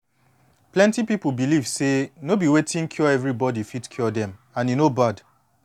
plenty pipu believe say no be wetin cure everybody fit cure dem and e no bad